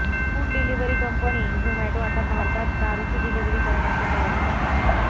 food delivery company Zomato आता भारतात दारूची डिलिव्हरी करण्याच्या तयारीत आहे